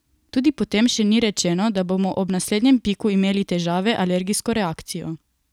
Tudi potem še ni rečeno, da bomo ob naslednjem piku imeli težave, alergijsko reakcijo.